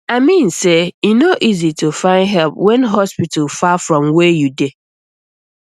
i mean say e no easy to find help when hospital far from where you dey